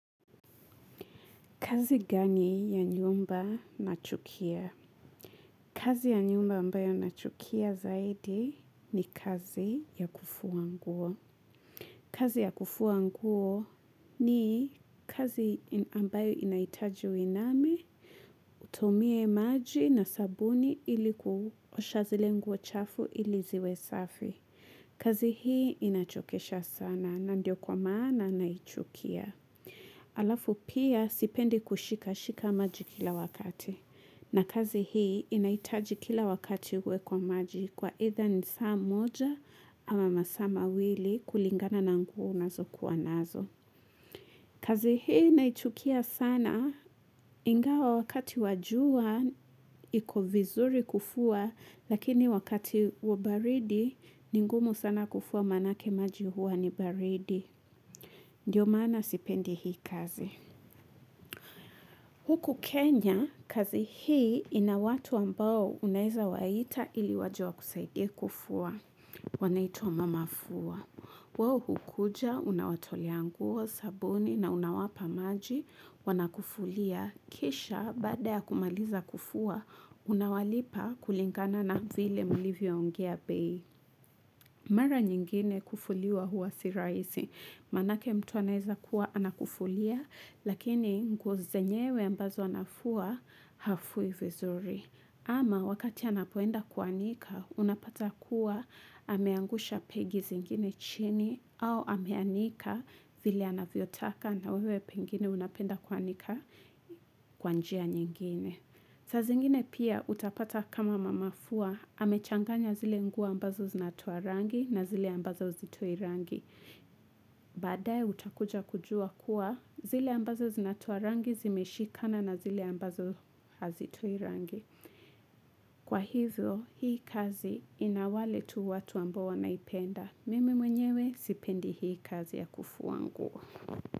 Kazi gani ya nyumba nachukia? Kazi ya nyumba ambayo nachukia zaidi ni kazi ya kufua nguo. Kazi ya kufuanguo ni kazi ambayo inahitaji uiname, utomie maji na sabuni iliku osha zile nguo chafu iliziwe safi. Kazi hii inachokesha sana na ndio kwa maana na nachukia. Alafu pia sipendi kushika shika maji kila wakati. Na kazi hii inahitaji kila wakati uwe kwa maji kwa itha ni saa moja ama masaa ma wili kulingana na nguo nazo kuwa nazo. Kazi hii naichukia sana ingawa wakati wa jua iko vizuri kufua lakini wakati wa baridi ni ngumu sana kufua manake maji huwa ni baridi. Ndiyo maana sipendi hii kazi. Huku Kenya, kazi hii ina watu ambao unaweza waita ili waje wakusaidie kufua. Wanaitwa mama fua. Wao hukuja, unawatea nguo, sabuni na unawapa maji, wana kufulia. Kisha, baada ya kumaliza kufua, unawalipa kulingana na vile mulivyo ongia bei. Mara nyingine kufulia huwa si rahisi. Manake mtu anaeza kuwa anakufulia lakini nguo zenyewe ambazo anafua hafui vizuri ama wakati anapoenda kuanika unapata kuwa ameangusha pegi zingine chini au ameanika vile anavyotaka na wewe pengine unapenda kuanika kwa njia nyingine. Saa zingine pia utapata kama mama fua, amechanganya zile nguo ambazo zinatoa rangi na zile ambazo zitoi rangi. Baadae utakuja kujua kuwa zile ambazo zinatoa rangi zimeshikana na zile ambazo hazitoi rangi. Kwa hivyo, hii kazi inawale tu watu ambo wanaipenda. Mimi mwenyewe, sipendi hii kazi ya kufuua nguo.